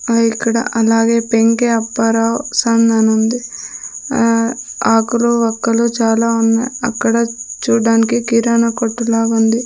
ఆ ఇక్కడ అలాగే పెంకి అప్పారావు సన్ అని ఉంది ఆ ఆకులు ఒక్కలు చాలా ఉన్నాయి అక్కడ చూడడానికి కిరాణా కొట్టు లాగా ఉంది.